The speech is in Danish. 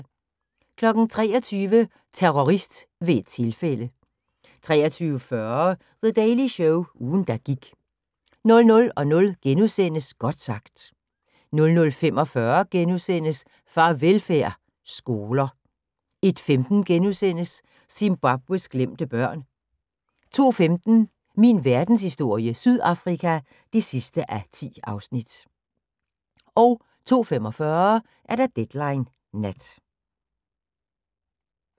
23:00: Terrorist ved et tilfælde 23:40: The Daily Show – ugen der gik 00:00: Godt sagt * 00:45: Farvelfærd: Skoler * 01:15: Zimbabwes glemte børn * 02:15: Min verdenshistorie - Sydafrika (10:10) 02:45: Deadline Nat